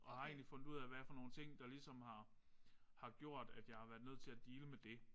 Og jeg egentlig fundet ud af hvad for nogle ting der ligesom har har gjort at jeg har været nødt til at deale med det